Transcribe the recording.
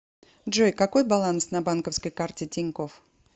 джой какой баланс на банковской карте тинькофф